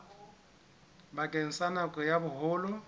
bakeng sa nako ya boholo